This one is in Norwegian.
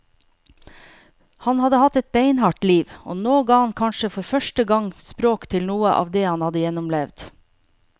Han hadde hatt et beinhardt liv, og nå ga han kanskje for første gang språk til noe av det han hadde gjennomlevd.